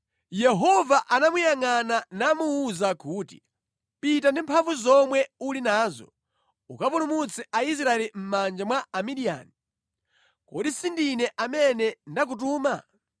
Yehova anamuyangʼana namuwuza kuti, “Pita ndi mphamvu zomwe uli nazo, ukapulumutse Aisraeli mʼmanja mwa Amidiyani. Kodi si ndine amene ndakutuma?”